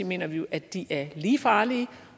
mener vi jo at de er lige farlige